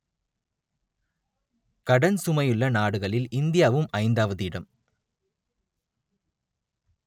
கடன் சுமையுள்ள நாடுகளில் இந்தியாவும் ஐந்தாவது இடம்